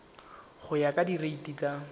go ya ka direiti tsa